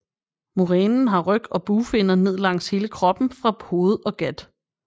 Murænen har ryg og bugfinner ned langs hele kroppen fra hoved og gat